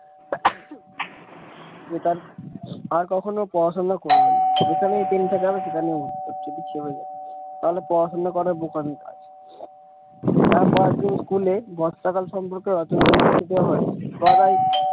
যে তার আর কখনো পড়াশোনা করবে না যেখানেই pen ঠেকাবে সেখানে উত্তর যদি ছেপে যায় তাহলে পড়াশোনা করে বোকামি কাজ তারপর দিন স্কুলে বর্ষাকাল সম্পর্কে রচনা লিখতে দেওয়া হয় গদাই।